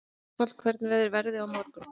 Ástvald, hvernig verður veðrið á morgun?